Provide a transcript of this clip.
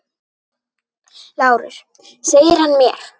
LÁRUS: Segir hann mér!